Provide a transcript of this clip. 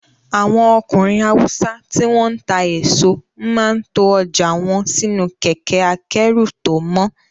Àwọn ọkùnrin Haúsá tí wọ́n ń ta èso máa ń to ọjà wọn sínú kẹkẹ́-akẹ́rù tó mọ́.